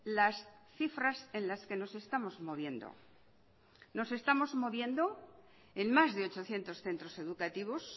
las cifras en las que nos estamos moviendo nos estamos moviendo en más de ochocientos centros educativos